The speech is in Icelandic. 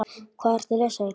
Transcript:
Hvað ertu að lesa, Eygló?